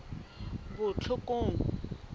botlhokong